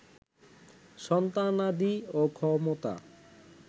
সন্তানাদি ও ক্ষমতা